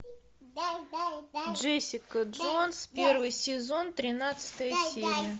джессика джонс первый сезон тринадцатая серия